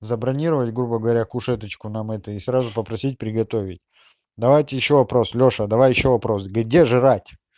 забронировать грубо говоря кушеточку нам эту и сразу попросить приготовить давайте ещё вопрос лёша давай ещё вопрос где жрать